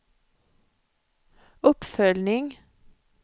uppföljning